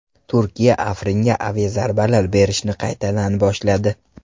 Turkiya Afringa aviazarbalar berishni qaytadan boshladi .